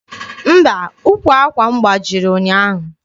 Mba, ụkwụ àkwà m gbajiri ụnyaahụ.